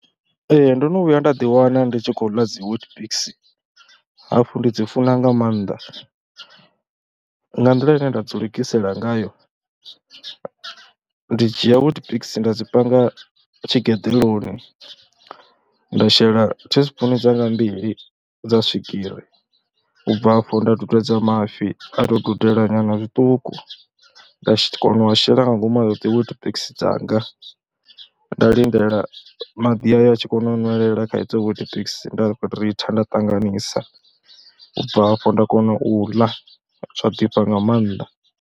Ee ndo no vhuya nda ḓiwana ndi tshi khou ḽa dzi Weetabix hafhu ndi dzi funa nga maanḓa, nga nḓila ine nda dzi lugisela ngayo, ndi dzhia Weetabix nda dzi panga tshigeḓoloni, nda shela teaspoon dzanga mbili dza swigiri. U bva afhu nda dudedza mafhi, a tou dudela nyana zwiṱuku nda kona u a shela nga ngomu a Weetabix dzanga nda lindela maḓi ayo a tshi kona u ṅwelela kha idzo Weetabix nda ritha nda ṱanganisa, u bva afho nda kona u ḽa, zwa ḓifha nga maanḓa.